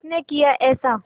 किसने किया ऐसा